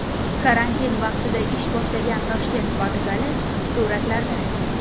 Karantin vaqtida ish boshlagan Toshkent vokzali suratlarda.